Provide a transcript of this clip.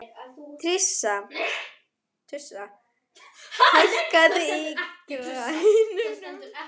Tirsa, hækkaðu í græjunum.